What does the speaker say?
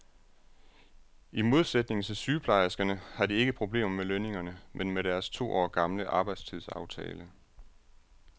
I modsætning til sygeplejerskerne har de ikke problemer med lønningerne, men med deres to år gamle arbejdstidsaftale.